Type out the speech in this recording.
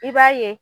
I b'a ye